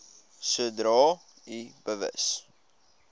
sodra u bewus